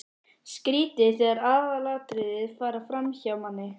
Skrýtið þegar aðalatriðin fara framhjá manni!